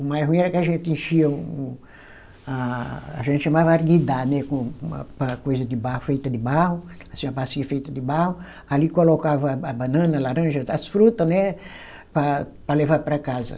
O mais ruim era que a gente enchia um, a a gente chamava arguidá, né com uma, uma coisa de barro, feita de barro, assim uma bacia feita de barro, ali colocava a banana, laranja, as fruta, né, para para levar para casa.